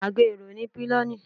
agá erò ni piloní